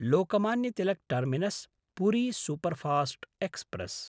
Lokmanya Tilak terminus Puri superfast express